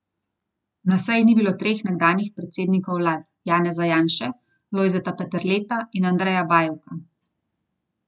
Na seji ni bilo treh nekdanjih predsednikov vlad, Janeza Janše, Lojzeta Peterleta in Andreja Bajuka.